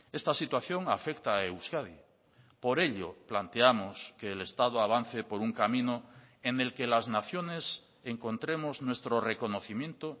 esta situación afecta a euskadi por ello planteamos que el estado avance por un camino en el que las naciones encontremos nuestro reconocimiento